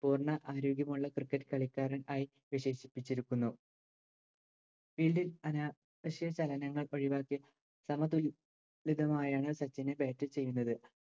പൂർണ ആരോഗ്യമുള്ള Cricket കളിക്കാരൻ ആയി വിശേഷിപ്പിച്ചിരുന്നു Field അന വശ്യ ചലനങ്ങളൊഴിവാക്കി സമതുല് ല്യതമായാണ് സച്ചിന് Bat ചെയ്യുന്നത്